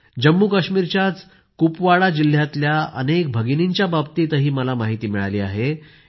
जम्मू काश्मीरच्याच कुपवाडा जिल्ह्यातल्या अनेक भगिनींच्या बाबतीत मला माहिती मिळाली आहे